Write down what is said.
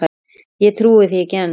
Ég trúi því ekki enn.